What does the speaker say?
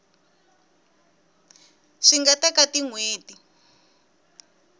swi nga teka tin hweti